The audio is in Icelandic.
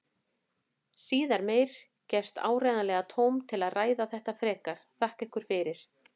Síðar meir gefst áreiðanlega tóm til að ræða þetta frekar, þakka ykkur fyrir.